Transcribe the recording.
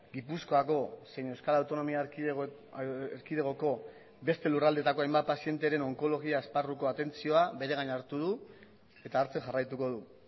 gipuzkoako zein euskal autonomia erkidegoko beste lurraldeetako hainbat pazienteren onkologia esparruko atentzioa bere gain hartu du eta hartzen jarraituko du